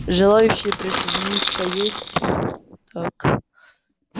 желающие присоединиться есть так